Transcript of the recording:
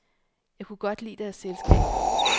Jeg kunne godt lide deres selskab.